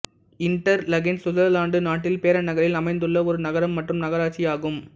Interlaken Switzerland நாட்டில் Bern நகரில் அமைந்துள்ள ஒரு நகரம் மற்றும் நகராட்சி ஆகும்